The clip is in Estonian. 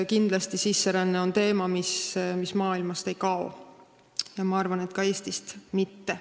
Kindlasti on sisseränne teema, mis maailmast ei kao, ja ma arvan, et ka Eestist mitte.